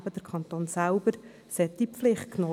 Im Fall des Kantons Bern ist es der Kanton selbst.